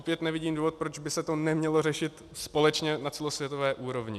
Opět nevidím důvod, proč by se to nemělo řešit společně na celosvětové úrovni.